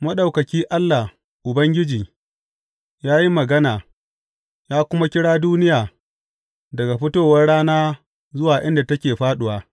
Maɗaukaki, Allah, Ubangiji, ya yi magana ya kuma kira duniya daga fitowar rana zuwa inda take fāɗuwa.